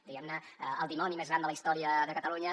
diguem ne el dimoni més gran de la història de catalunya